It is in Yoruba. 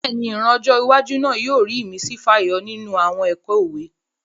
Bẹ́ẹ̀ni, ìran ọjọ́ iwájú náà yóò rí ìmísí fàyọ nínú àwọn ẹ̀kọ́ òwe